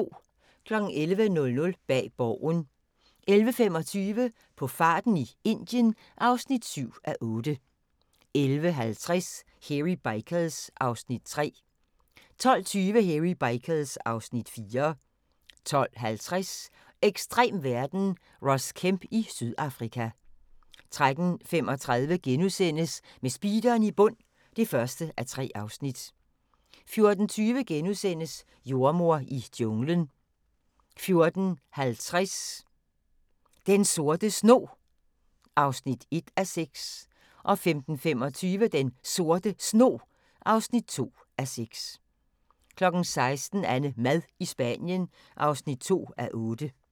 11:00: Bag Borgen 11:25: På farten i Indien (7:8) 11:50: Hairy Bikers (Afs. 3) 12:20: Hairy Bikers (Afs. 4) 12:50: Ekstrem verden – Ross Kemp i Sydafrika 13:35: Med speederen i bund (1:3)* 14:20: Jordemoder i junglen * 14:50: Den Sorte Snog (1:6) 15:25: Den Sorte Snog (2:6) 16:00: AnneMad i Spanien (5:8)